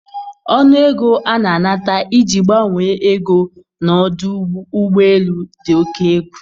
Ọnụ ego a na-anata iji gbanwe ego na ọdụ ụgbọ elu dị oke egwu